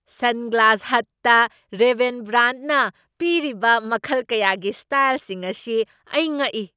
Sunglass ꯍꯠꯇ Ray Ban ꯕ꯭ꯔꯥꯟꯗꯅ ꯄꯤꯔꯤꯕ ꯃꯈꯜ ꯀꯌꯥꯒꯤ ꯁ꯭ꯇꯥꯏꯜꯁꯤꯡ ꯑꯁꯤ ꯑꯩ ꯉꯛꯏ꯫